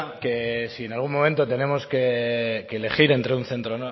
que si en algún momento tenemos que elegir entre un centro